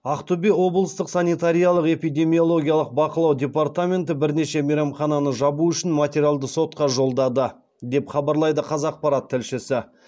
ақтөбе облыстық санитариялық эпидемиологиялық бақылау департаменті бірнеше мейрамхананы жабу үшін материалды сотқа жолдады деп хабарлайды қазақпарат тілшісі